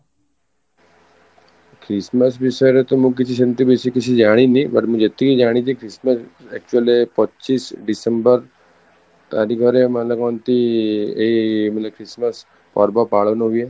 Christmas ବିଷୟରେ ତୋ ମୁଁ କିଛି ସେମିତି ବେଶୀ କିଛି ଜାଣିନି but ମୁଁ ଯେତିକି ଜାଣିଛି Christmas actually ରେ ପଚିଶ December ତାରିଖରେ ମାନେ କୁହନ୍ତି ଏଇ ମାନେ Christmas ପର୍ବ ପାଳନ ହୁଏ